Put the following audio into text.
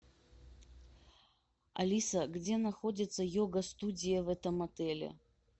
алиса где находится йога студия в этом отеле